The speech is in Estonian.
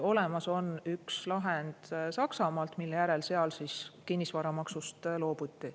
Olemas on üks lahend Saksamaalt, mille järel seal kinnisvaramaksust loobuti.